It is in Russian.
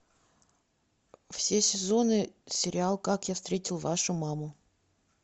все сезоны сериал как я встретил вашу маму